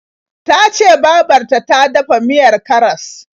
Ta ce babar ta ta dafa miyar karas.